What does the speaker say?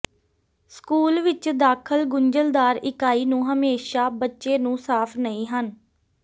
school ਵਿਚ ਦਾਖਲ ਗੁੰਝਲਦਾਰ ਇਕਾਈ ਨੂੰ ਹਮੇਸ਼ਾ ਬੱਚੇ ਨੂੰ ਸਾਫ ਨਹੀ ਹਨ